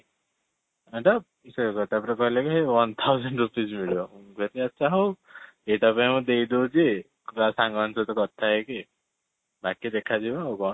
ହଁ ତ ସେଇଟା ତା'ପରେ କହିଲେ କି one thousand rupees ମିଳିବ ଆଚ୍ଛା ହଉ ଏଇଟା ବି ମୁଁ ଦେଇଦେଉଛି କାହା ସାଙ୍ଗ ମାନଙ୍କ ସହିତ କଥା ହେଇକି ବାକି ଦେଖା ଯିବ ଆଉ କ'ଣ?